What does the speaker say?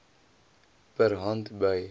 per hand by